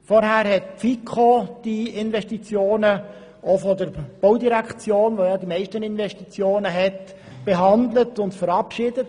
Vorher hat die FiKo diese Investitionen, insbesondere jene der Baudirektion, die ja die meisten Investitionen tätigt, behandelt und verabschiedet.